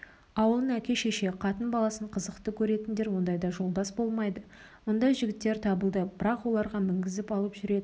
ауылын әке-шеше қатын-баласын қызықты көретіндер ондайда жолдас болмайды мұндай жігіттер табылды бірақ оларға мінгізіп алып жүретін